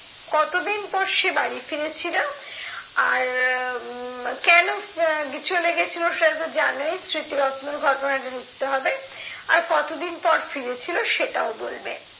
কতদিন পর সে বাড়ি ফিরেছিল? আর উম কেন চলে গেছিলো সেটা তো জানোই স্মৃতিরত্নর ঘটনাটা লিখতে হবে। আর কতদিন পর ফিরেছিল সেটাও বলবে।